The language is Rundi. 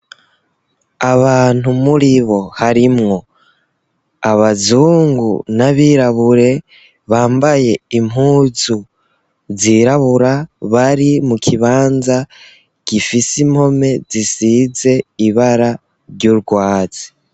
Abantu muri bo harimwo abazungu n'abirabure bambaye impuzu zirabura bari mu kibanza gifise impome zisize ibara ry'urwazi.